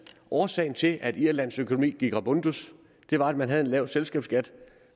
årsagen til at irlands økonomi gik rabundus var at man havde en lav selskabsskat